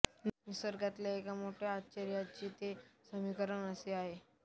निसर्गातल्या एका मोठ्या आश्चर्याचे ते समीकरण असे आहे